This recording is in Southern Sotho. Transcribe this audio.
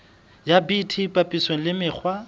ya bt papisong le mekgwa